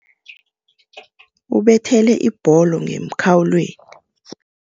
Ubethele ibholo ngemkhawulweni.